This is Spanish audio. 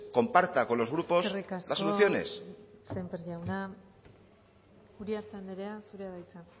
comparta con los grupos las soluciones eskerrik asko sémper jauna uriarte anderea zurea da hitza